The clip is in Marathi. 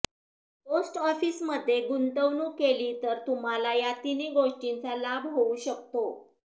पोस्ट ऑफिसमध्ये गुंतवणूक केली तर तुम्हाला या तिन्ही गोष्टींचा लाभ होऊ शकतो